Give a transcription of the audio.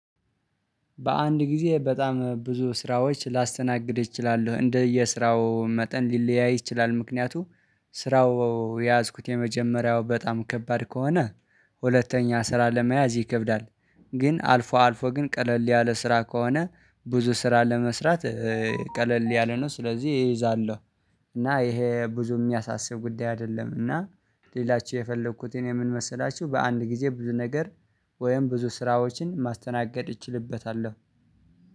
በአንድ ጊዜ በጣም ብዙ ስራዎች ላስተናግድ እችላለሁ እንደየስራው መጠን ሊለያይ ይችላል። ምክንያቱም ስራው የያዝኩት የመጀመሪያው በጣም ከባድ ከሆነ ሁለተኛ ስራ ለመያዝ ይከብዳል። ግን አልፎ አልፎ ግን ቀለል ያለ ስራ ከሆነ ብዙ ስራ ለመስራት ቀለል ያለ ነው። ስለዚህ ይይዛለሁ እና ይሄ ብዙ የሚያሳስብ ጉዳይ አይደለም። እና ልላችሁ የፈለኩት እኔ ምን መሰላችሁ በአንድ ጊዜ ብዙ ነገር ወይም ብዙ ስራዎችን ማስተናገድ እችልበታለሁ